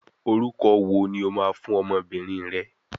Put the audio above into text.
Orúkọ wo ni o máa fún ọmọbìnrin rẹ?